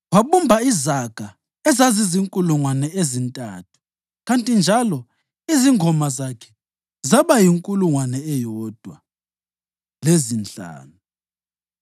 Wabumba izaga ezizinkulungwane ezintathu kanti njalo izingoma zakhe zaba yinkulungwane eyodwa lezinhlanu.